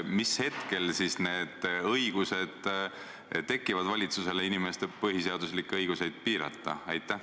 Mis hetkel tekib valitsusel õigus inimeste põhiseaduslikke õigusi piirata?